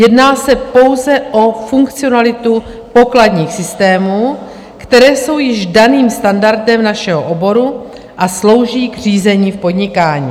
Jedná se pouze o funkcionalitu pokladních systémů, které jsou již daným standardem našeho oboru a slouží k řízení v podnikání.